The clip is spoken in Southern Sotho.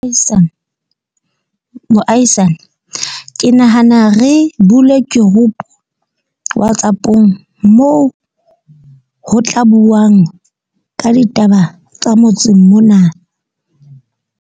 Moahisani ke nahana re bule group-u WhatsApp-ong, moo ho tla buang ka ditaba tsa motseng mona.